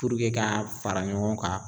Purike ka fara ɲɔgɔn kan